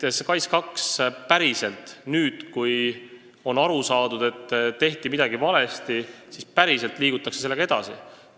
Ma väga loodan, et nüüd, kui on aru saadud, et midagi tehti valesti, siis liigutakse sellega päriselt edasi.